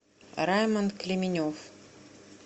раймонд клименев